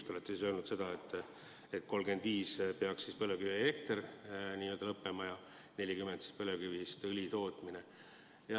Te olete öelnud, et aastaks 2035 peaks põlevkivielekter lõppema ja aastaks 2040 põlevkivist õli tootmine.